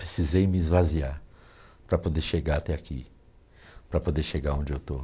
Precisei me esvaziar para poder chegar até aqui, para poder chegar onde eu estou.